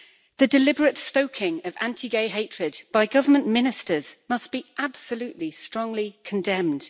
The deliberate stoking of anti gay hatred by government ministers must be absolutely and strongly condemned.